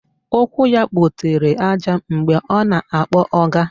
Ụkwụ ya kpotere àjà mgbe ọ na-akpọ ọga